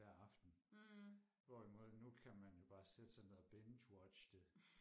hver aften hvorimod nu kan man jo bare sætte sig ned og bingewatche det